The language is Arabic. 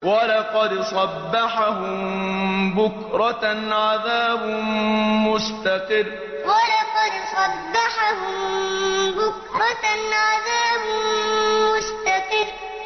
وَلَقَدْ صَبَّحَهُم بُكْرَةً عَذَابٌ مُّسْتَقِرٌّ وَلَقَدْ صَبَّحَهُم بُكْرَةً عَذَابٌ مُّسْتَقِرٌّ